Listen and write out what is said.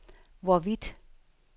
hvorvidt